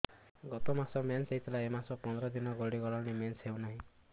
ଗତ ମାସ ମେନ୍ସ ହେଇଥିଲା ଏ ମାସ ପନ୍ଦର ଦିନ ଗଡିଗଲାଣି ମେନ୍ସ ହେଉନାହିଁ